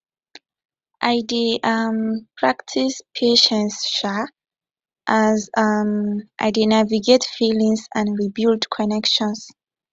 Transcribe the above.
i dey um practice patience um as um i dey navigate feelings and rebuild connections